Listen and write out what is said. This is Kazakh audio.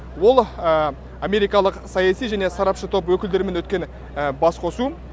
ол америкалық саяси және сарапшы топ өкілдерімен өткен басқосу